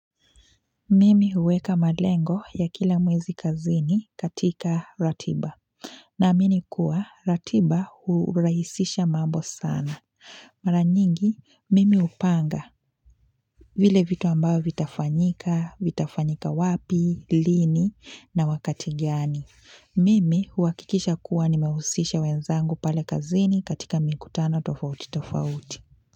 Mimi huweka malengo ya kila mwezi kazini katika ratiba. Naamini kuwa ratiba hurahisisha mambo sana. Mara nyingi, mimi upanga. Vile vitu ambao vitafanyika, vitafanyika wapi, lini na wakati gani. Mimi huakikisha kuwa nimehusisha wenzangu pale kazini katika mikutano tofauti tofauti.